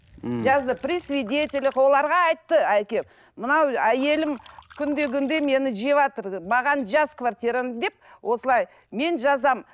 мхм жазды при свидетелях оларға айтты әкем мынау әйелім күнде күнде мені жеватыр маған жаз квартираны деп осылай мен жазамын